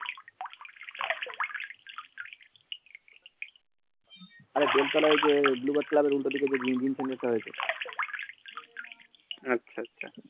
আরে বেলতলার উল্টো দিকে যে জিম তা আছে আচ্ছা